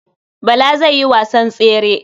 Bala zai yi wasan tsere.